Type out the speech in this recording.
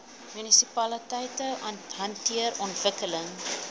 munisipaliteite hanteer ontwikkeling